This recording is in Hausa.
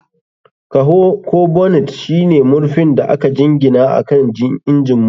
Kaho ko bonnet shine murfin da aka jingina akan injin motocin.